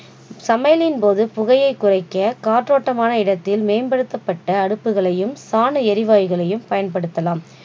சமையலின் போது புகையை குறைக்க காற்றோட்டமான மேம்படுத்தமட்ட அடுப்புகளையும் சாண எரிவாயுகளையும் பயன்படுத்தலாம்